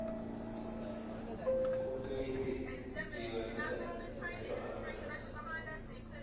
Ku kaydi diiwaannada meelo ammaan ah.